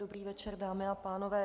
Dobrý večer, dámy a pánové.